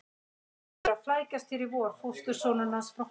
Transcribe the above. Hann hefur verið að flækjast hér í vor, fóstursonurinn hans frá Hólum.